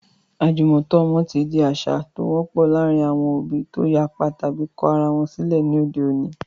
Àjùmọ̀tọ́ ọmọ ti di àṣà tó )wọ́pọ̀ láàárín àwọn òbí tó yapa tàbi kọ ara wọn sílẹ̀ ní òde òní.